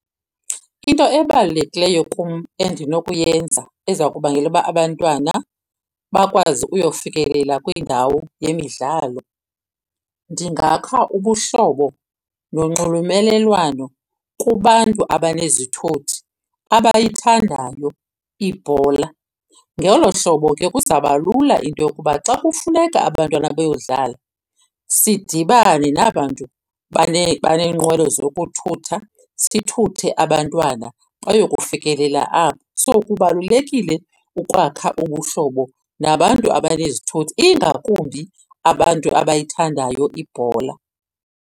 Into ebalulekileyo kum endinokuyenza eza kubangela uba abantwana bakwazi uyofikelela kwindawo yemidlalo, ndingakha ubuhlobo nonxulumelelwano kubantu abanezithuthi abayithandayo ibhola. Ngolo hlobo ke kuzaba lula into yokuba xa kufuneka abantwana beyodlala sidibane naba 'ntu baneenqwelo zokuthutha, sithuthe abantwana bayokufikelela apho. So, kubalulekile ukwakha ubuhlobo nabantu abanezithuthi ingakumbi abantu abayithandayo ibhola.